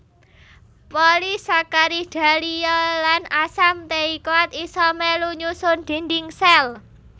Polisakarida liya lan asam teikoat isa melu nyusun dinding sel